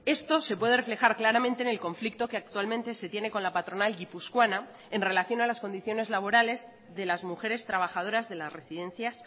esto se puede reflejar claramente en el conflicto que actualmente se tiene con la patronal guipuzcoana en relación a las condiciones laborales de las mujeres trabajadoras de las residencias